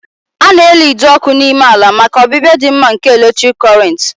A na-eli ide ọkụ n'ime ala maka ọbịbịa dị mma nke eletrik Kọrịnt